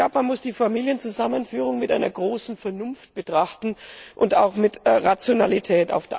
Man muss die Familienzusammenführung mit großer Vernunft betrachten und auch mit Rationalität.